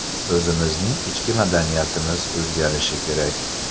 O‘zimizning ichki madaniyatimiz o‘zgarishi kerak.